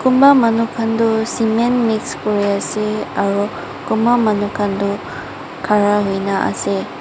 kunba manu kan toh cement mix kuri ase aro kunba manu kan toh khara kuriana ase.